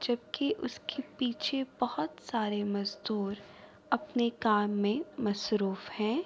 جبکی اسکے پیچھے بھوت سارے مزدور اپنے کام مے مشروف ہے۔